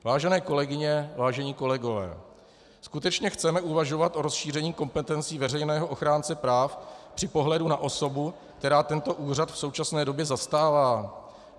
Vážené kolegyně, vážení kolegové, skutečně chceme uvažovat o rozšíření kompetencí veřejného ochránce práv při pohledu na osobu, která tento úřad v současné době zastává?